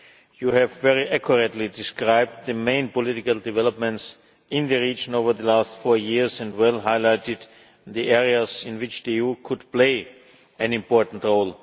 You have very accurately described the main political developments in the region over the last four years and well highlighted the areas in which the EU could play an important role.